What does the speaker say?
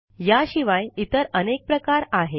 या शिवाय इतर अनेक प्रकार आहेत